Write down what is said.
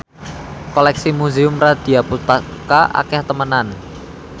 koleksi Museum Radya Pustaka akeh temenan